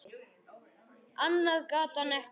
Annað gat hann ekki.